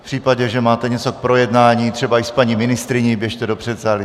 V případě, že máte něco k projednání, třeba i s paní ministryní, běžte do předsálí.